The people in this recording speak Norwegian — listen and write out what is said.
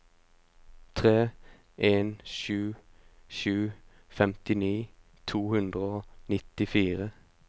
tre en sju sju femtini to hundre og nittifire